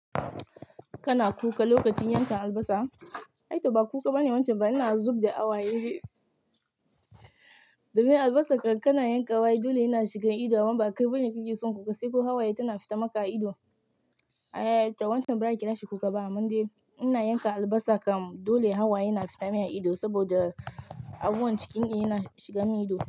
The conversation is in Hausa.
Kana kuka lokacin yanka albasa? Ai t ba kuka bane wancan ba, ina zub da hawaye. Domin albasa kan kana yanka wa ai dole yana shigan ido, amma ba kai bane kike son kuka sai ko hawaye tana fita maka a ido. A'a, ai tawan can bara kina shi kuka ba, amma dai ina yanka albasa kam dole hawaye yana fita min a ido saboda abubuwan cikin in yana shiga mun ido.